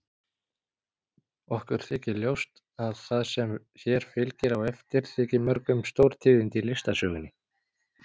Okkur þykir ljóst að það sem hér fylgir á eftir þyki mörgum stórtíðindi í listasögunni.